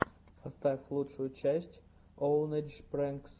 поставь лучшую часть оунэйдж прэнкс